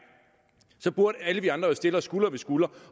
burde alle vi andre stille os skulder ved skulder